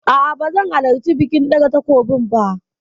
A'a ba zan halarci bikin ɗaga takobin ba.